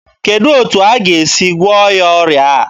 Kedụ etu aga esi gụọ ya ọrịa a?